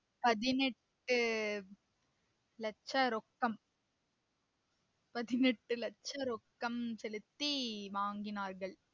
பதினெட்டு லட்ச ரொக்கம் பதினெட்டு லட்சம் ரொக்கம் செலுத்தி வாங்கினார்கள்